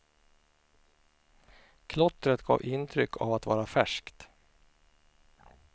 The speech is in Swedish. Klottret gav intryck av att vara färskt.